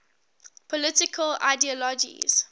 political ideologies